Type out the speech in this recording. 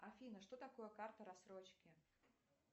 афина что такое карта рассрочки